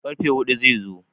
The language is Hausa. karfe hudu zai zo